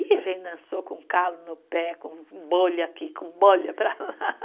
E a gente dançou com o calo no pé, com bolha aqui, com bolha para lá.